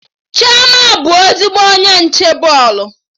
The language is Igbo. Chioma bụ ezigbo onye nche bọọlụ